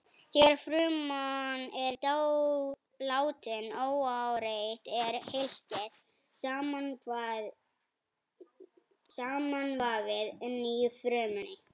Þegar fruman er látin óáreitt er hylkið samanvafið inni í frumunni.